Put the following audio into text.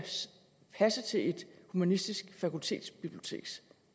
passe til et humanistisk fakultets biblioteks